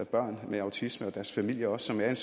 børn med autisme og deres familier også som er i